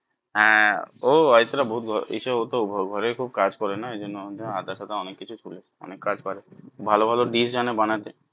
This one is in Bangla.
হ্যাঁ ও অরিত্রা ভুল বলে এসব ও তো ঘরেই খুব কাজ করে না এই জন্য আধা সাদা অনেক কিছু করে অনেক কাজ পারে ভালো ভালো dish জানে বানাতে